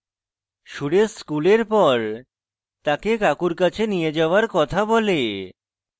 সুরেশ স্কুলের পর তাকে কাকুর কাছে নিয়ে যাওয়ার কথা বলে